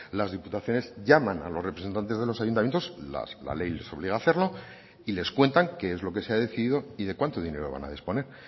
las diputaciones llaman a los representantes de los ayuntamientos la ley les obliga a hacerlo y les cuentan qué es lo que se ha decidido y de cuánto dinero van a disponer